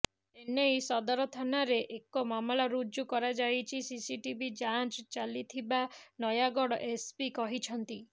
ଏନେଇ ସଦର ଥାନାରେ ଏକ ମାମଲା ରୁଜୁ କରାଯାଇ ସିସିଟିଭି ଯାଞ୍ଚ ଚାଲିଥିବା ନୟାଗଡ ଏସ୍ପି କହିଛନ୍ତି